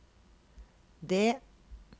det